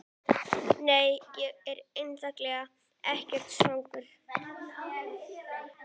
Nei, ég er eiginlega ekkert svangur.